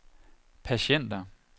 patienter